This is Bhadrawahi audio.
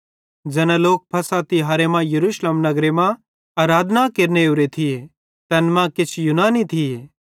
ज़ैना लोक फ़सह तिहारे मां यरूशलेम नगरे मां आराधना केरने ओरे थिये तैन मां किछ यूनानी थिये